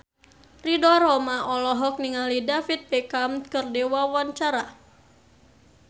Ridho Roma olohok ningali David Beckham keur diwawancara